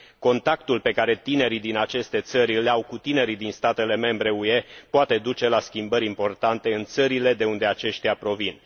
Contactul pe care tinerii din aceste țări îl au cu tinerii din statele membre UE poate duce la schimbări importante în țările de unde aceștia provin.